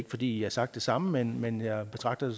fordi i har sagt det samme men men jeg betragter